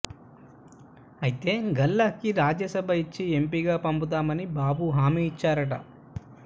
అయితే గల్లా కి రాజ్యసభ ఇచ్చి ఎంపీ గా పంపుతామని బాబు హామీ ఇచ్చారట